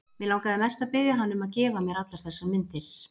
Mig langaði mest til að biðja hann um að gefa mér allar þessar myndir.